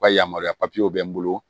Ka yamaruya papiyew bɛ n bolo